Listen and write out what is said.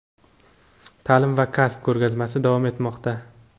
"Ta’lim va kasb" ko‘rgazmasi davom etmoqda.